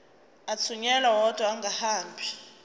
athunyelwa odwa angahambi